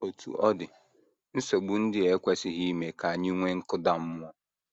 Otú ọ dị, nsogbu ndị a ekwesịghị ime ka anyị nwee nkụda mmụọ.